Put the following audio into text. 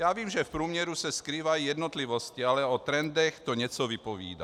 Já vím, že v průměru se skrývají jednotlivosti, ale o trendech to něco vypovídá.